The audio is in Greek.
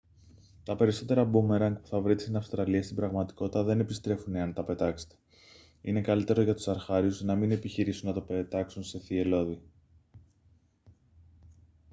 τα περισσότερα μπούμεραγκ που θα βρείτε στην αυστραλία στην πραγματικότητα δεν επιστρέφουν εάν τα πετάξετε είναι καλύτερο για τους αρχάριους να μην επιχειρήσουν να το πετάξουν σε θυελλώδη